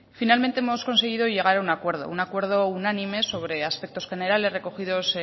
finalmente hemos conseguido llegar a un acuerdo un acuerdo unánime sobre aspectos generales recogidos